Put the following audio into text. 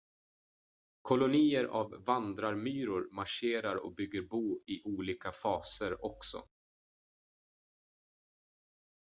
kolonier av vandrarmyror marscherar och bygger bo i olika faser också